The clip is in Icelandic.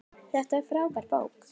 Þetta er frábær bók.